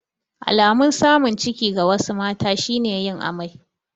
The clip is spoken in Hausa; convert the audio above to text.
Alamun samun ciki ga wasu mata shi ne yin amai.